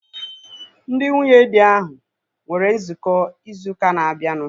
Ndị nwunye dị ahu nwere nzukọ ịzụ ụka na-abianu